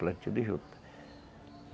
Plantio de juta.